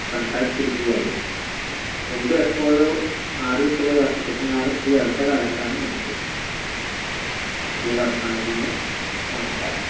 സംസാരിച്ചിട്ടിരിക്കുകയായിരുന്നു മുമ്പെപ്പോഴോ നാടുവിട്ടുപോയ അപ്പുകുട്ടൻ നായർ ഈ അടുത്തകാലത്താണ് വന്നത് അവസാനിക്കുകയും നമസ്ക്കാരം